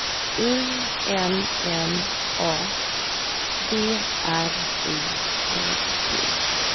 U L L A B R I T T